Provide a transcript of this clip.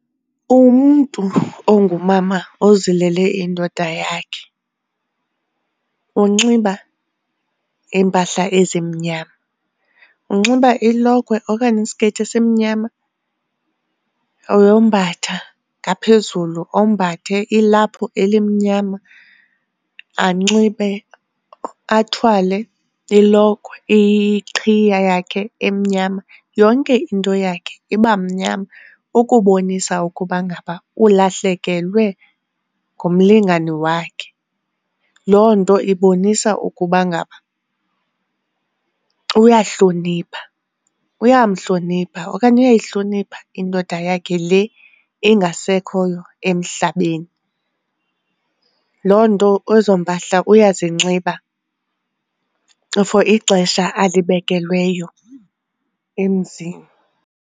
Umntu ongumama ozilele indoda yakhe unxiba iimpahla ezimnyama. Unxiba ilokhwe okanye isikeyiti esimnyama, uyombatha ngaphezulu ombathe ilaphu elimnyama, anxibe athwale ilokhwe iqhiya yakhe emnyama. Yonke into yakhe iba mnyama ukubonisa ukuba ngaba ulahlekelwe ngumlingane wakhe. Loo nto ibonisa ukuba ngaba uyahlonipha, uyamhlonipha okanye uyayihlonipha indoda yakhe le engasekhoyo emhlabeni. Loo nto ezo mpahla uyazinxiba for ixesha alibekelweyo emzini.